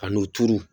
Ka n'o turu